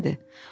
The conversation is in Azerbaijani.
Demədi.